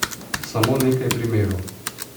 Samo nekaj primerov.